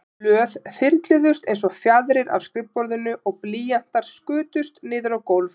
Blöð þyrluðust einsog fjaðrir af skrifborðinu og blýantar skutust niður á gólf.